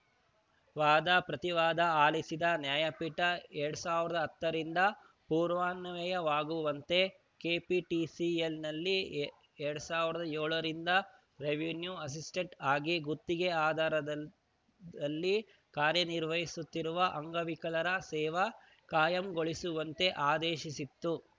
ವಾದ ಪ್ರತಿವಾದ ಆಲಿಸಿದ ನ್ಯಾಯಪೀಠ ಎರಡ್ ಸಾವಿರದ ಹತ್ತರಿಂದ ಪೂರ್ವಾನ್ವಯವಾಗುವಂತೆ ಕೆಪಿಟಿಸಿಎಲ್‌ನಲ್ಲಿ ಎರಡ್ ಸಾವಿರದ ಏಳರಿಂದ ರೆವಿನ್ಯೂ ಅಸಿಸ್ಟೆಂಟ್ಸ್‌ ಆಗಿ ಗುತ್ತಿಗೆ ಆಧಾರದಲ್ಲಿ ಕಾರ್ಯ ನಿರ್ವಹಿಸುತ್ತಿರುವ ಅಂಗವಿಕಲರ ಸೇವೆ ಕಾಯಂಗೊಳಿಸುವಂತೆ ಆದೇಶಿಸಿತು